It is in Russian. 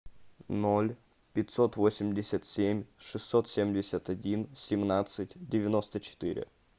ноль пятьсот восемьдесят семь шестьсот семьдесят один семнадцать девяносто четыре